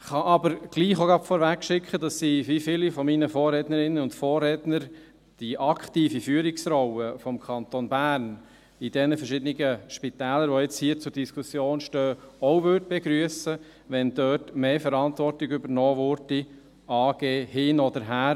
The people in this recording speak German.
Ich kann aber trotzdem auch gleich vorausschicken, dass ich, wie viele meiner Vorrednerinnen und Vorredner, die aktive Führungsrolle des Kantons Bern in diesen verschiedenen Spitälern, die jetzt hier zur Diskussion stehen, auch begrüssen würde, wenn also dort mehr Verantwortung übernommen würde, AG hin oder her.